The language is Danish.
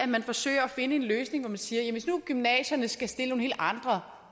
man forsøger at finde en løsning hvor man siger hvis nu gymnasierne skulle stille nogle helt andre